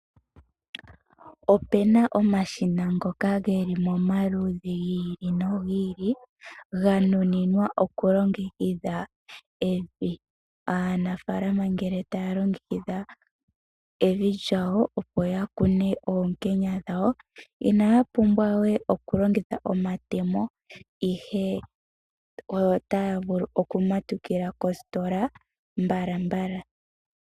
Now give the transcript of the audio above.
Opena omashina ngoka geli momaludhi gi ili nogi ili ganuninwa okulongekidha evi. Aanafaalama ngele taya longekidha evi lyawo opo yakune oonkenya dhawo, inaya pumbwa we okulongitha omatemo ihe otaya vulu okumatukila kositola mbala mbala.